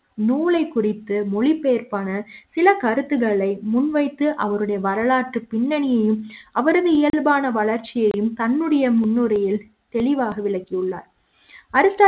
நூலை குறித்து மொழிபெயர்ப்பான சில கருத்துகளை முன்வைத்து அவருடைய வரலாற்றுப் பின்னணியும் அவரது இயல்பான வளர்ச்சியையும் தன்னுடைய முன்னுரை யில் தெளிவாக விளக்கியுள்ளார் அரிஸ்ட்டாட்டில்